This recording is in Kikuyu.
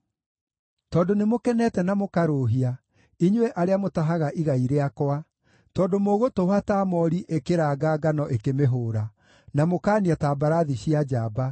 “Tondũ nĩmũkenete na mũkarũũhia, inyuĩ arĩa mũtahaga igai rĩakwa, tondũ mũgũtũũha ta moori ĩkĩraanga ngano ĩkĩmĩhũũra, na mũkaania ta mbarathi cia njamba,